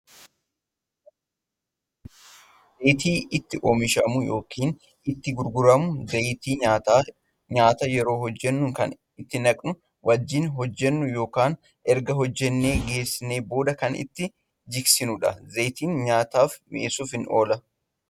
Zayita nyaataaf hedduudha iddoo zayiti itti oomishamu yookiin itti gurguramuudha. zayiti nyaataa ;nyaata yeroo hojjannu Kan itti naquun wajjiin hojjannu yookaan erga hojjannee geessinee booda Kan itti jiksinuudha. zayiti nyaata mi'eessuuf oola.